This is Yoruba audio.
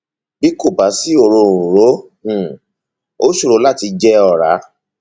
bí kò bá sí òróǹro um ó ṣòro láti jẹ ọrá